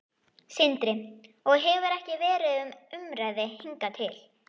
Sindri: Og hefur ekki verið til umræðu hingað til?